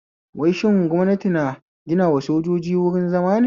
Wai shin gwamnati na ginawa sojoji wruin zama ne?